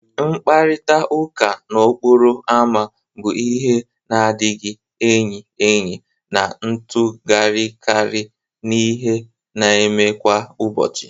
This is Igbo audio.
Mkparịta ụka n'okporo ámá bu ihe na adighi eyi eyi na-atụgharịkarị n'ihe na-eme kwa ụbọchị